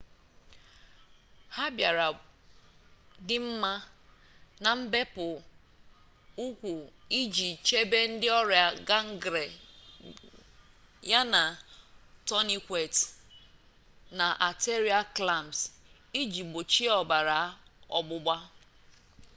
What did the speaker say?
ha bịara dị mma na mbepụ ụkwụ iji chebe ndị ọrịa gangrene yana tourniquets na arterial clamps iji gbochie ọbara ọgbụgba